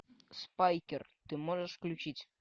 спайкер ты можешь включить